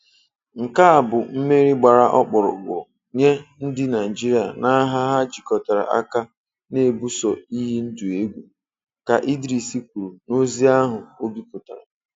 "Nke a bụ mmeri gbara ọkpụrụkpụ nye ndị Naịjirịa n'agha ha jikọtara aka na-ebuso iyi ndụ egwu," ka Idris kwuru n'ozi ahụ o bipụtara.